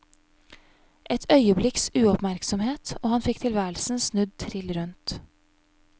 Et øyeblikks uoppmerksomhet og han fikk tilværelsen snudd trill rundt.